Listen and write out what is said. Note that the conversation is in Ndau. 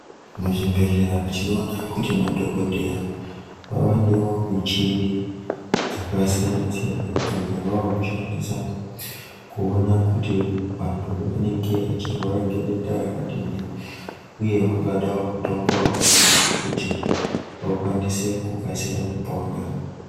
Muzvibhehlera tinoona kuti madhogodheya vavanewo michini dzakasiyana-siyana idzo dzavavakushandisa kuona kuti antu anenge achirwara ngedenda rakadini uye vangada mutombo wakadini kuti vakwanise kukasira kupona.